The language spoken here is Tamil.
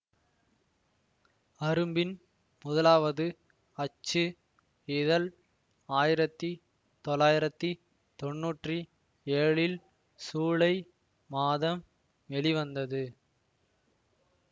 அரும்பின் முதலாவது அச்சு இதழ் ஆயிரத்தி தொளாயிரத்தி தொண்ணுற்றி ஏழில் சூலை மாதம் வெளிவந்தது